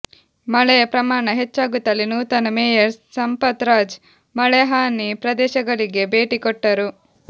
ಮಳೆಯ ಪ್ರಮಾಣ ಹೆಚ್ಚಾಗುತ್ತಲೇ ನೂತನ ಮೇಯರ್ ಸಂಪತ್ ರಾಜ್ ಮಳೆ ಹಾನಿ ಪ್ರದೇಶಗಳಿಗೆ ಭೇಟಿ ಕೊಟ್ಟರು